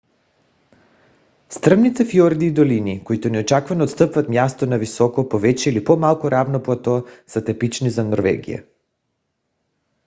стръмните фиорди и долини които неочаквано отстъпват място на високо повече или по-малко равно плато са типични за норвегия